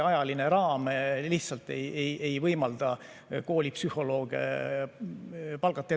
Ajaline raam lihtsalt ei võimalda koolipsühholooge palgata.